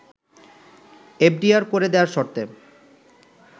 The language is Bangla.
এফডিআর করে দেয়ার শর্তে